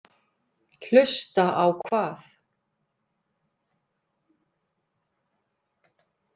Hlusta á hvað?